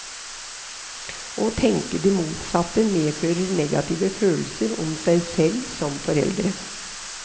Å tenke det motsatte medfører negative følelser om seg selv som foreldre.